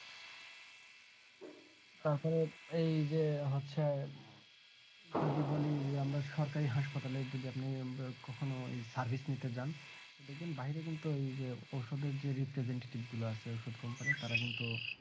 তাছাড়া এই যে হচ্ছে যদি বলি আমরা সরকারি হাসপাতালে যদি আপনি কখনো service নিতে যান দেখবেন বাইরে কিন্তুওই যে ওষধের যে representative গুলো আছে ওষুধ কোম্পানির তারা কিন্তু